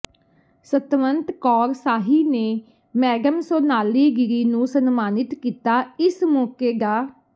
ਸਤਵੰਤ ਕੌਰ ਸ਼ਾਹੀ ਨੇ ਮੈਡਮ ਸੋਨਾਲੀ ਗਿਰੀ ਨੂੰ ਸਨਮਾਨਿਤ ਕੀਤਾ ਇਸ ਮੌਕੇ ਡਾ